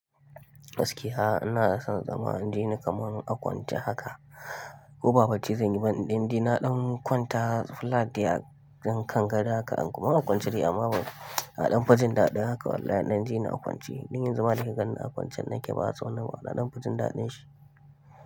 Gaskiya ina son zama in jini kamar a kwance haka. Ko ba bacci zan yi ba in ɗan dai na ɗan kwanta flat dai a ɗan kan gado haka an-- in a kwance dai amma ba nafi jin daɗin haka wallahi in ɗan jini a kwance. Don yanzu ma da kika ganni a kwance nake ba tsawon nan ba na ɗan fi jin daɗin shi.